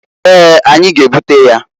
Eeǃ Anyi g'ebute ya.